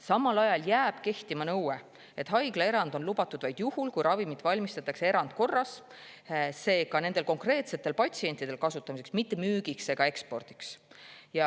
Samal ajal jääb kehtima nõue, et haiglaerand on lubatud vaid juhul, kui ravimit valmistatakse erandkorras, seega nende konkreetsete patsientide, mitte müügiks ega ekspordiks.